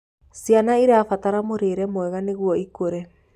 Ciana irabatarĩa mũrĩre mwega nĩguo ĩkure